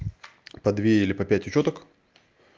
по две или по пять учёток